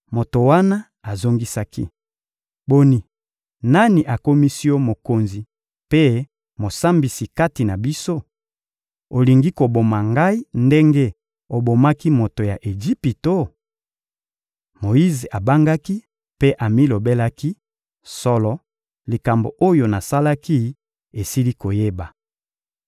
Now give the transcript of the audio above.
Moto wana azongisaki: — Boni, nani akomisi yo mokonzi mpe mosambisi kati na biso? Olingi koboma ngai ndenge obomaki moto ya Ejipito? Moyize abangaki mpe amilobelaki: «Solo, likambo oyo nasalaki, esili koyeba.»